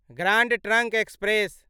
grand Trunk express